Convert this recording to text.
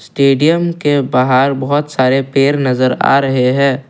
Stadium के बाहर बहुत सारे पेड़ नजर आ रहे है।